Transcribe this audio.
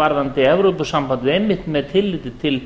varðandi evrópusambandið einmitt með tilliti til